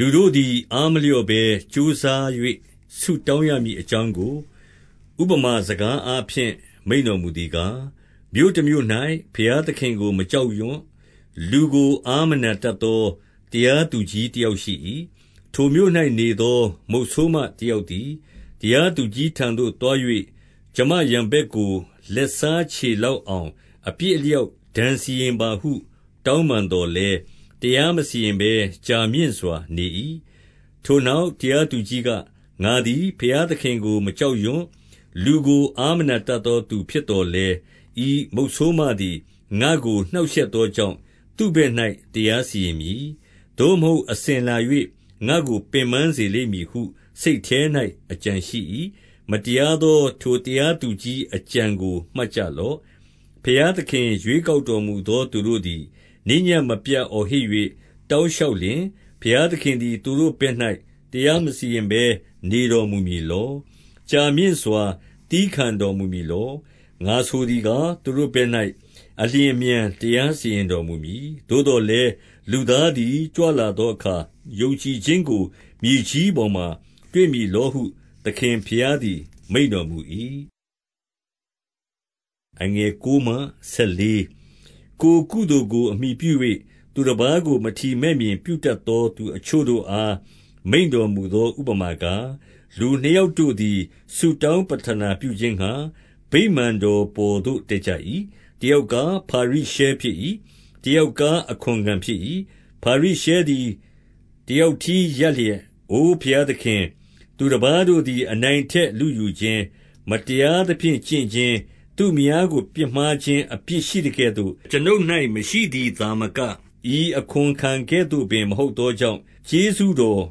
လူတို့သည် အားမလျော့ဘဲကြိုးစား၍ ဆုတောင်းရမည်အကြောင်းကို ဥပမာစကားအားဖြင့် မိန့်တော်မူ သည်ကား၊ မြို့တမြို့၌ ဘုရားသခင်ကို မကြောက်ရွံ့၊ လူကို အားမနာတတ်သော တရားသူကြီးတယောက်ရှိ၏။ ထိုမြို့၌နေသော မုတ်ဆိုးမတယောက်သည် တရားသူကြီးထံသို့သွား၍၊ ကျွန်မရန်ဘက်ကို လက်စား ချေလောက်အောင် အပြစ်အလျောက်ဒဏ် စီရင်ပါဟု တောင်းပန်သော်လည်း၊ တရားမစီရင်ဘဲ ကြာမြင့်စွာနေ၏။ ထိုနောက် တရားသူကြီးက၊ ငါသည် ဘုရားသခင်ကို မကြောက်ရွံ့၊ လူကို အားမနာတတ်သောသူ ဖြစ်သော်လည်း၊ ဤမုတ်ဆိုးမသည် ငါ့ကိုနှောင့်ရှက်သောကြောင့် သူ့ဘက်၌ တရားစီရင်မည်။ သို့မဟုတ် အစဉ်လာ၍ ငါ့ကို ပင်ပန်းစေလိမ့်မည်ဟု စိတ်ထဲ၌ အကြံရှိ၏။ မတရားသော ထိုတရားသူကြီး၏ အကြံကိုမှတ်ကြလော့။ ဘုရားသခင် ရွေးကောက်တော်မူသောသူတို့သည် ညဉ့်နေ့မပြတ် အော်ဟစ်၍ တောင်းလျှောက်လျှင်၊ ဘုရားသခင်သည် သူတို့ဘက်၌ တရားမစီရင်ဘဲ နေတော်မူမည်လော။ ကြာမြင့်စွာ သည်းခံတော်မူမည်လော။ ငါဆိုသည်ကား၊ သူတို့ဘက်၌ အလျင်အမြန် တရားစီရင်တော်မူမည်။ သို့သော်လည်း လူသားသည် ကြွလာသောအခါ ယုံကြည်ခြင်းကို မြေကြီးပေါ်မှာ တွေ့မည်လောဟု သခင်ဘုရားသည် မိန့်တော်မူ၏။ ကိုယ်ကုသိုလ်ကို အမှီပြု၍ သူတပါးကို မထီမဲ့မြင်ပြုတတ်သောသူအချို့တို့အား မိန့်တော်မူသော ဥပမာကား၊ လူနှစ်ယောက်တို့သည် ဆုတောင်းပဌနာပြုခြင်းငှါ ဗိမာန်တော်ပေါ်သို့ တက်ကြ၏။ တယောက်ကား ဖာရိရှဲဖြစ်၏။ တယောက်ကား အခွန်ခံဖြစ်၏။ ဖာရိရှဲသည် တယောက်တည်းရပ်လျက်၊ အိုဘုရားသခင်၊ သူတပါးတို့သည် အနိုင်အထက်လုယူခြင်း၊ မတရားသဖြင့်ကျင့်ခြင်း၊ သူ့မယားကိုပြစ်မှားခြင်းအပြစ်ရှိသကဲ့သို့ အကျွန်ုပ်၌မရှိသည်သာမက၊ ဤအခွန်ခံကဲ့သို့ ပင် မဟုတ်သောကြောင့် ကျေးဇူးတော်